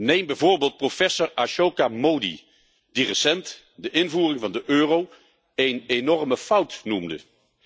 Neem bijvoorbeeld professor Ashoka Mody, die recent de invoering van de euro een enorme fout noemde.